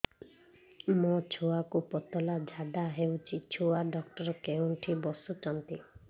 ମୋ ଛୁଆକୁ ପତଳା ଝାଡ଼ା ହେଉଛି ଛୁଆ ଡକ୍ଟର କେଉଁଠି ବସୁଛନ୍ତି